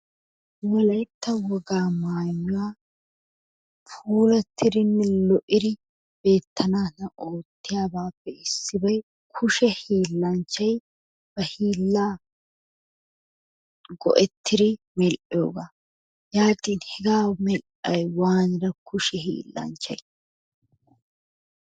Wolaytta wogaa maayuwa puulattidinne lo'iri beettanaadan oottiyabaappe issibay kushe hiillanchchay ba hiillaa go'ettiri medhdhoogaa. Yaatin hegaa medhdhay waanira kushe hiillanchchay?